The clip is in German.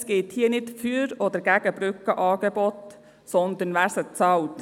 Es geht hier nicht um ein Für oder Wider Brückenangebote, sondern darum, wer sie bezahlt.